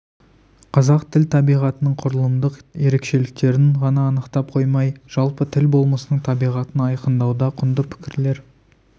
қазақ тілі табиғатының құрылымдық ерекшеліктерін ғана анықтап қоймай жалпы тіл болмысының табиғатын айқындауда құнды пікірлер